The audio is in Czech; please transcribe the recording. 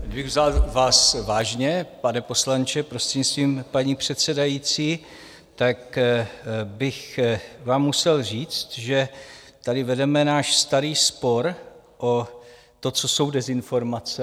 Kdybych vás vzal vážně, pane poslanče, prostřednictvím paní předsedající, tak bych vám musel říct, že tady vedeme náš starý spor o to, co jsou dezinformace.